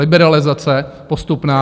Liberalizace postupná.